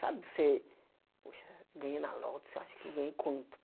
Sabe, você, poxa, ganhei na loto, você acha que eu ganhei quanto?